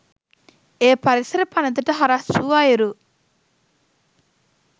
එය පරිසර පනතට හරස් වූ අයුරු